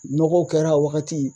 Nɔgɔw kɛra a wagati